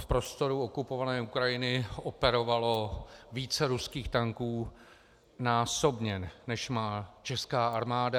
V prostoru okupované Ukrajiny operovalo více ruských tanků násobně, než má česká armáda.